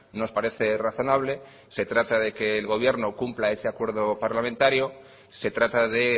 nos parece razonable se trata de que el gobierno cumpla ese acuerdo parlamentario se trata de